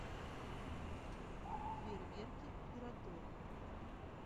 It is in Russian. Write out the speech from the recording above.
фейерверки пироторг